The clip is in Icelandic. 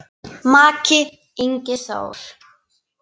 Maki, Ingi Þór.